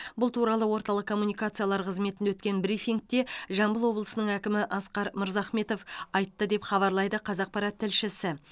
бұл туралы орталық коммуникациялар қызметінде өткен брифингте жамбыл облысының әкімі асқар мырзахметов айтты деп хабарлайды қазақпарат тілшісі